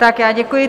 Tak já děkuji.